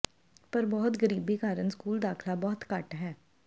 ਪਰ ਬਹੁਤ ਗਰੀਬੀ ਕਾਰਨ ਸਕੂਲ ਦਾਖਲਾ ਬਹੁਤ ਘੱਟ ਹੈ